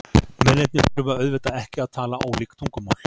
Mennirnir þurfa auðvitað ekki að tala ólík tungumál.